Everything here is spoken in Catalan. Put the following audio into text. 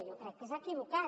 jo crec que és equivocat